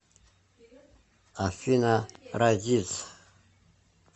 афина разиз